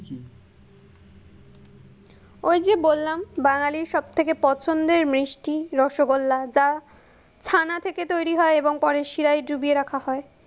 ওই যে বললাম, বাঙালির সবথেকে পছন্দের মিষ্টি রসগোল্লা, যা, ছানা থেকে তৈরি হয় এবং পরে সিরায় ডুবিয়ে রাখা হয়।